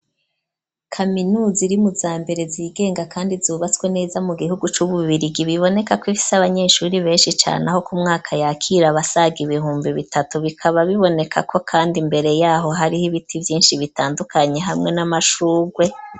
kaminuza irimuzambere zigenga kandi zubatswe neza mu gihugu cu Bubirigi biboneka ko ifise abanyeshuri benshi cane aho ku mwaka yakira basaga ibihumbi bitatu bikaba biboneka ko kandi mbere yaho hariho ibiti vyinshi bitandukanye hamwe n'amashurwe.